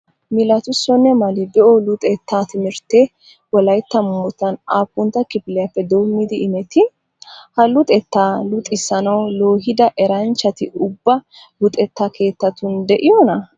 Milatissonne Mali be'o luxettaa timirttee wolaytta moottan aappuntta kifiliyappe doommidi imettii? Ha luxettaa luxxissanawu loohida eranchchati ubba luxetta keettatun de'iyonaa?